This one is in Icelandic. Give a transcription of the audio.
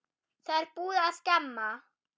Það er búið að skemma.